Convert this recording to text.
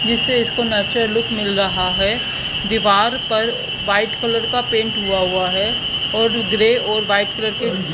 जिससे इसको natural look मिल रहा है दीवार पर वाइट कलर का पेंट हुआ हुआ है और ग्रे और वाइट कलर की--